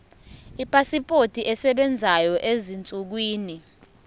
ipasipoti esebenzayo ezinsukwini